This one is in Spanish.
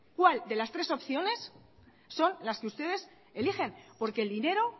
cuál de las tres opciones son las que ustedes elijen porque el dinero